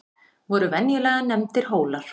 voru venjulega nefndir hólar